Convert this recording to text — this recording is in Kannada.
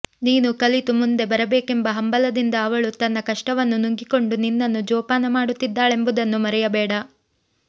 ನೀನು ಕಲಿತು ಮುಂದೆ ಬರಬೇಕೆಂಬ ಹಂಬಲದಿಂದ ಅವಳು ತನ್ನ ಕಷ್ಟವನ್ನು ನುಂಗಿಕೊಂಡು ನಿನ್ನನ್ನು ಜೋಪಾನ ಮಾಡುತ್ತಿದ್ದಾಳೆಂಬುದನ್ನು ಮರೆಯಬೇಡ